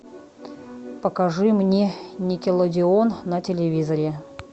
покажи мне никелодеон на телевизоре